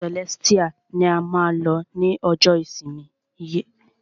Ìjọ Celestial ni a máa lọ ni ọjọ ìsinmi yìí!